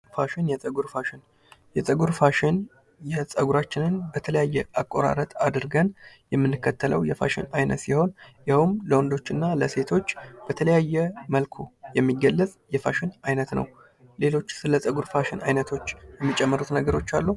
ፋሽን የፀጉር ፋሽን የፀጉር ፋሽን የፀጉራችን በተለያየ አቆራረጥ አድርገን የምንከተለው የማሽን አይነት ሲሆን ፤ ይኸውም ለወንዶችና ለሴቶች በተለያየ መልኩ የሚገለፅ የፋሽን አይነት ነው። ሌሎች ስለ ፀጉር ፋሽን ዓይነቶች የሚጨምሩት ነገሮች አሉ?